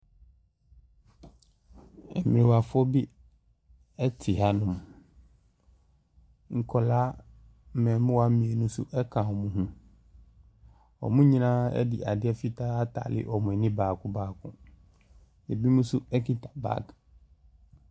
Mmrewafoɔ bi te hanom. Nkwadaa, mmɛɛmoaa mmienu nso ka wɔn ho. Wɔn nyinaa de ade fitaa atare wɔn ani baako baako. Ebinom nso kita bag.